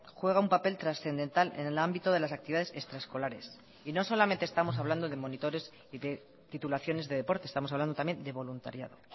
juega un papel trascendental en el ámbito de las actividades extraescolares y no solamente estamos hablando de monitores y de titulaciones de deporte estamos hablando también de voluntariado